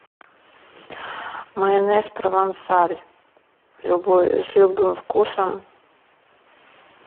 майонез провансаль с любым вкусом